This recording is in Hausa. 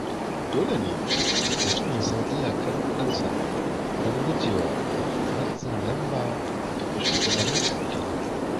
Dole ne mutum ya san iyakar kudinsa don gujewa matsin lamba daga shugabannin addini.